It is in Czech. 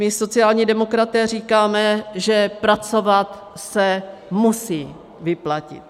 My sociální demokraté říkáme, že pracovat se musí vyplatit.